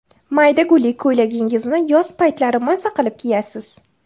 Mayda gulli ko‘ylagingizni yoz paytlari maza qilib kiyasiz.